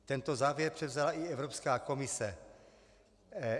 Tento závěr převzala i Evropská komise.